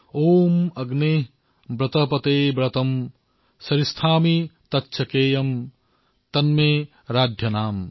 ঔম অগ্ৰে ব্ৰতপতে ব্ৰতং চৰিষ্যামি তচ্ছকেয়ম তন্মে ৰাধ্যতাম